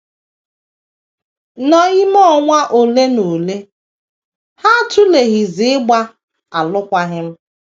N’ime ọnwa ole na ole, ha atụleghịzi ịgba alụkwaghịm.